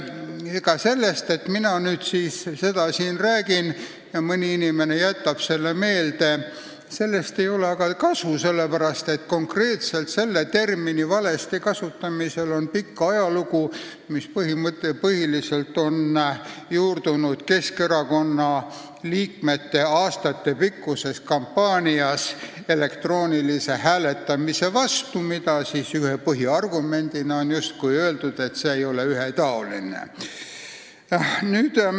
Ega sellest, et mina seda siin räägin ja mõni inimene jätab selle meelde, ei ole kasu, sest konkreetselt selle termini valesti kasutamisel on pikk ajalugu, mis põhiliselt on juurdunud Keskerakonna liikmete aastatepikkuses kampaanias elektroonilise hääletamise vastu, kus ühe põhiargumendina on öeldud, et see ei ole ühetaoline.